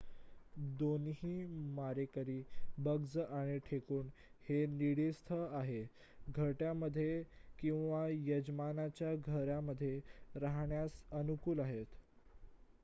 दोन्ही मारेकरी बग्ज आणि ढेकुण हे नीडस्थ आहेत घरट्यामध्ये किंवा यजमानांच्या घरामध्ये राहण्यास अनुकूल आहेत